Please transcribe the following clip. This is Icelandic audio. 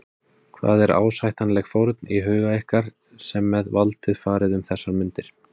Hvað er ásættanleg fórn í huga ykkar sem með valdið farið um þessar mundir?